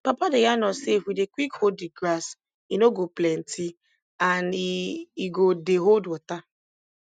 papa dey yarn us sey if we dey quick hoe di grass e no go plenty and e e go dey hold water